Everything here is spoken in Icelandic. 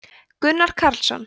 gunnar karlsson